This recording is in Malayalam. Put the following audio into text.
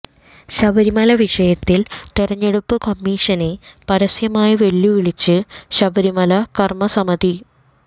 ശബരിമല വിഷയത്തിൽ തെരഞ്ഞെടുപ്പ് കമ്മീഷനെ പരസ്യമായി വെല്ലുവിളിച്ച് ശബരിമല കര്മ്മസമിതി